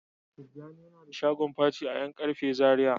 Tijjani yana da shagon paci a yan karfe Zaria.